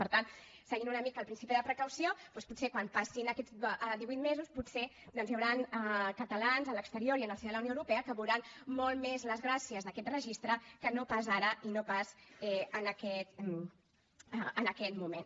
per tant seguint una mica el principi de precaució doncs potser quan passin aquests divuit mesos potser hi hauran catalans a l’exterior i en el si de la unió europea que veuran molt més les gràcies d’aquest registre que no pas ara i no pas en aquest moment